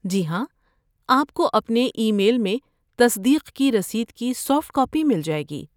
جی ہاں، آپ کو اپنے ای میل میں تصدیق کی رسید کی سافٹ کاپی مل جائے گی۔